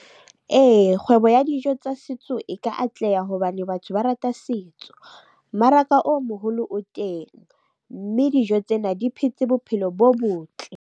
Ee, kgwebo ya dijo tsa setso e ka atleha hobane batho ba rata setso. Mmaraka o moholo o teng, mme dijo tsena di phetse bophelo bo botle.